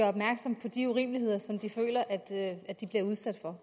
opmærksom på de urimeligheder som de føler at de bliver udsat for